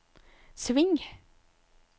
sving